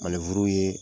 ye